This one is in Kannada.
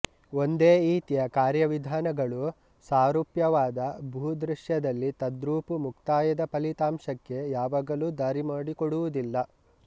ಒಂದೇ ಈತಿಯ ಕಾರ್ಯವಿಧಾನಗಳು ಸಾರೂಪ್ಯವಾದ ಭೂದೃಶ್ಯದಲ್ಲಿ ತದ್ರೂಪು ಮುಕ್ತಾಯದ ಫಲಿತಾಂಷಕ್ಕೆ ಯಾವಾಗಲೂ ದಾರಿಮಾಡಿಕೊಡುವುದಿಲ್ಲ